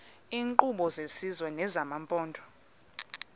iinkqubo zesizwe nezamaphondo